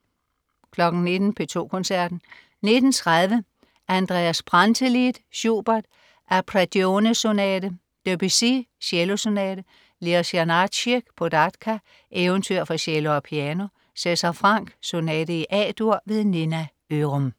19.00 P2 Koncerten. 19.30 Andreas Brantelid. Schubert: Arpeggione-sonate. Debussy: Cello Sonate. Leos Janácek: Pohádka, eventyr for cello and piano. César Franck: Sonate i A-dur. Nina Ørum